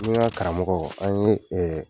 Ni n ka karamɔgɔ an ye ɛɛ